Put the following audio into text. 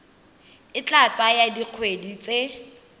e tla tsaya dikgwedi tse